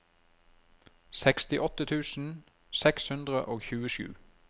sekstiåtte tusen seks hundre og tjuesju